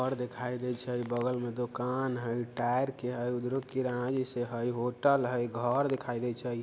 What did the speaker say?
और दिखाई देइ छई बगल मे दुकान हई टायर के हई उधरो किराना जैसे हई | होटल हई घर दिखाई देइ छई |